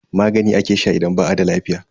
Magani ake sha idan ba a da lafiya.